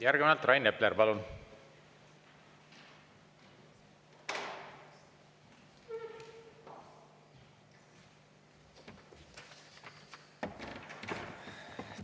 Järgnevalt Rain Epler, palun!